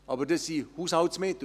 Aber das sind Haushaltsmittel.